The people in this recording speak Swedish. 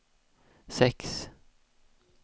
sex